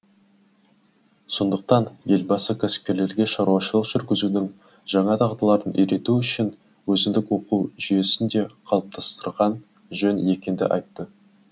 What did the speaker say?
сондықтан елбасы кәсіпкерлерге шаруашылық жүргізудің жаңа дағдыларын үйрету үшін өзіндік оқу жүйесін де қалыптастырған жөн екенді айтты